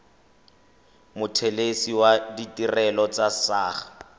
mothelesi wa ditirelo tsa saqa